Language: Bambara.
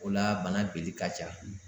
O la, bana benni ka ca.